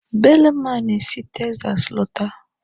Belema na esi Texas lọta.